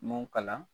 M'o kalan